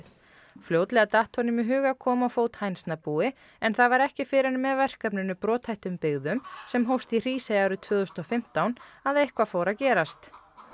fljótlega datt honum í hug að koma á fót hænsnabúi en það var ekki fyrr en með verkefninu brothættum byggðum sem hófst í Hrísey árið tvö þúsund og fimmtán að eitthvað fór að gerast